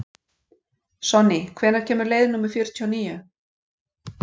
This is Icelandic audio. Sonný, hvenær kemur leið númer fjörutíu og níu?